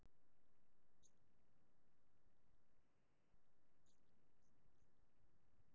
Stoðir hafa mótmælt þessari niðurstöðu skattrannsóknarstjóra